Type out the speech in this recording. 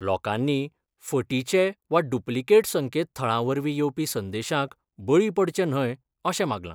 लोकांनी फटीचे वा डुप्लीकेट संकेत थळा वरवीं येवपी संदेशाक बळी पडचें न्हय अशें मागलां.